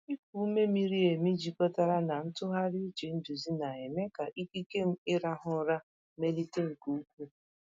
Ịkụ ume miri emi jikọtara na ntụgharị uche nduzi na-eme ka ikike m ịrahụ ụra melite nke ukwuu.